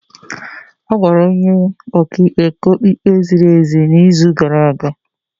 A gwara onye ọka ikpe ka ọ kpee ikpe ziri ezi n'izu gara aga.